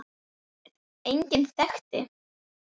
Engan þekkti